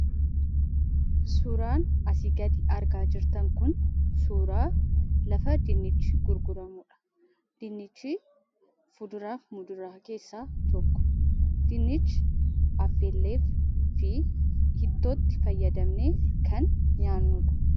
Suuraan asii gaditti argaa jirtan kun suuraa lafa dinnichi itti gurguramuudha. Dinnichi fuduraaf muduraa keessaa tokko. Dinnichi affeellee fi ittootti fayyadamnee kan nyaannuudha.